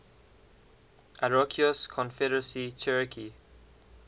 iroquois confederacy cherokee